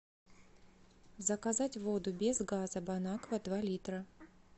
заказать воду без газа бонаква два литра